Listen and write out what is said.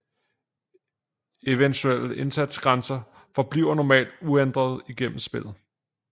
Eventuelle indsatsgrænser forbliver normalt uændrede igennem spillet